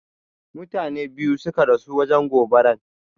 Mutane ɓiyu suƙa rasu wajen goɓaran.